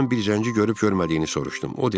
Ondan bir zəngi görüb görmədiyini soruşdum.